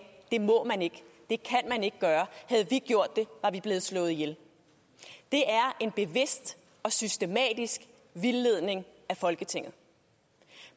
det må man ikke det kan man ikke gøre havde vi gjort det var vi blevet slået ihjel det er en bevidst og systematisk vildledning af folketinget